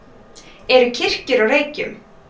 eru kirkjur á reykjum